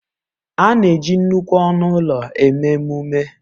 A na-eji nnukwu ọnụ ụlọ eme emume